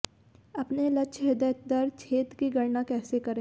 अपने लक्ष्य हृदय दर क्षेत्र की गणना कैसे करें